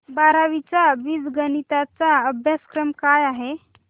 बारावी चा बीजगणिता चा अभ्यासक्रम काय आहे